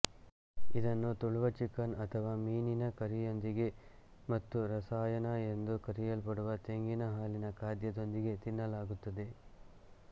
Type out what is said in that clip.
ಇದನ್ನು ತುಳುವ ಚಿಕನ್ ಅಥವಾ ಮೀನಿನ ಕರಿಯೊಂದಿಗೆ ಮತ್ತು ರಸಾಯನ ಎಂದು ಕರೆಯಲ್ಪಡುವ ತೆಂಗಿನ ಹಾಲಿನ ಖಾದ್ಯದೊಂದಿಗೆ ತಿನ್ನಲಾಗುತ್ತದೆ